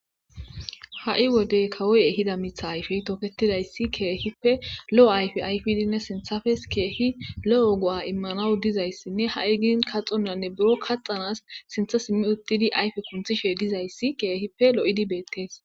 ha7i wodey kawoy ehida mitha ayfey toketidayssi keehippe lo7o ayfi ayfidinne sinthafes keehi lo7o go7a immanawu dizayssinne ha7i gin kaxonnanne buro kaxanas sintha simmi uttidi ayfe kunthishe dizayssi keehippe lo7idi beettees